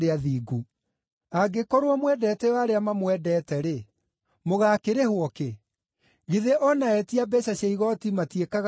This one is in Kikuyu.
Angĩkorwo mwendete o arĩa mamwendete-rĩ, mũgaakĩrĩhwo kĩ? Githĩ o na etia mbeeca cia igooti matiĩkaga o ũguo?